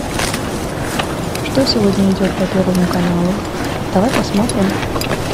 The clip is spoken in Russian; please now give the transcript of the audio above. что сегодня идет по первому каналу давай посмотрим